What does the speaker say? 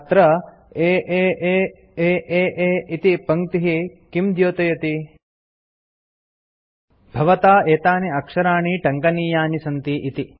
अत्र आ aaa इति पङ्क्तिः किं द्योतयति भवता एतानि अक्षराणि टङ्कनीयानि सन्ति इति